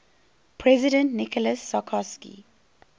president nicolas sarkozy